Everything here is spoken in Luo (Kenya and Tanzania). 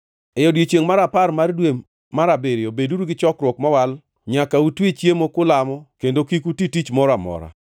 “ ‘E odiechiengʼ mar apar mar dwe mar abiriyo beduru gi chokruok mowal. Nyaka utwe chiemo kulamo kendo kik uti tich moro amora.